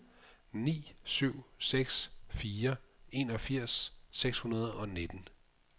ni syv seks fire enogfirs seks hundrede og nitten